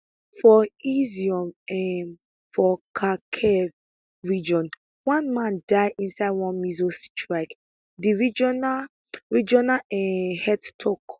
for izyum um for kharkiv region one man die inside one missile strike di regional regional um head tok